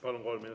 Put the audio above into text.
Palun!